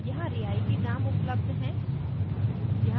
यहाँ रियायती दाम उपलब्ध हैं